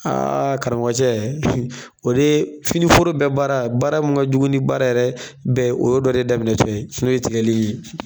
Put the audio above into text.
Aaa karamɔgɔcɛ o de ye fini foro bɛɛ baara baara mun jugu ni baara yɛrɛ bɛɛ ye o y'o dɔ de daminɛ tɔ ye n'o ye tigɛli ye